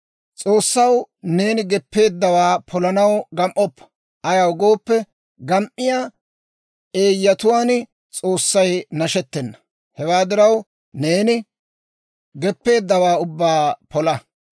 S'oossaw neeni geppeeddawaa polanaw gam"oppa; ayaw gooppe, gam"iyaa eeyyatuwaan S'oossay nashettena. Hewaa diraw, neeni geppeeddawaa ubbaa pola.